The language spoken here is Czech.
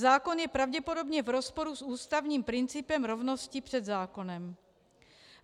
Zákon je pravděpodobně v rozporu s ústavním principem rovnosti před zákonem.